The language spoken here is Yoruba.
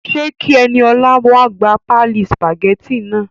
Ṣe kí Eniolá wa gbà páálí sùpàgétì náà?